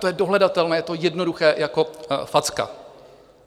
To je dohledatelné, je to jednoduché jako facka.